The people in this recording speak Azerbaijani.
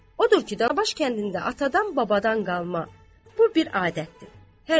Odur ki, Tanabaş kəndində atadan-babadan qalma bu bir adətdir.